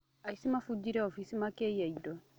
Aici mafujire ofici makĩiya indo.